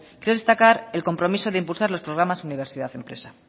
quiero destacar el compromiso de impulsar los programas universidad empresa